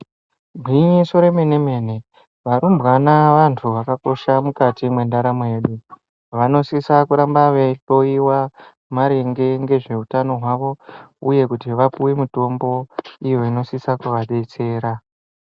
Gwinyiso remene mene, warumbwana wandu wakakosha mukati mwendaramo yedu, wanosisa kuramba weihloiwa maringe ngezveutano hwawo uye kuti wapuwe mitombo iyo inosisa kuadetsera.